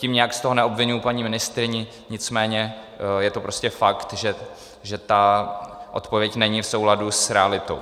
Tím nijak z toho neobviňuji paní ministryni, nicméně je to prostě fakt, že ta odpověď není v souladu s realitou.